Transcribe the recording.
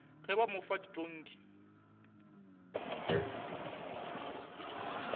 ge ba mo fa ditonki